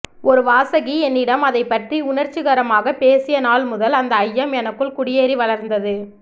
ஒரு வாசகி என்னிடம் அதைப்பற்றி உணர்ச்சிகரமாக பேசியநாள் முதல் அந்த ஐயம் எனக்குள் குடியேறி வளர்ந்தது